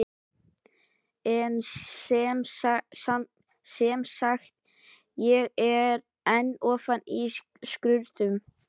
En semsagt: ég er enn ofan í skurðum.